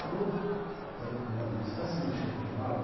Aí eu falei para o meu amigo, você está sentindo um cheirinho queimado?